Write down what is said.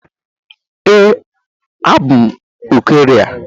Ee, abụ m Ukraine.